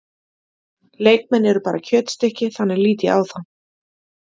Leikmenn eru bara kjötstykki, þannig lít ég á það.